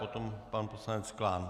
Potom pan poslanec Klán.